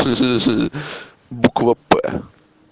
буква п